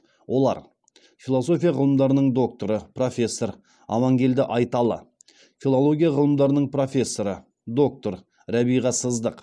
олар философия ғылымдарының докторы профессор амангелді айталы филология ғылымдарының профессоры доктор рәбиға сыздық